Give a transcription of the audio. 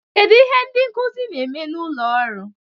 Kedu ihe ndị nkuzi na-eme n'ime ụlọ ọrụ?